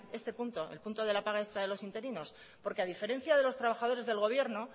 este punto el punto de la paga extra de los interinos porque a diferencia de los trabajadores del gobierno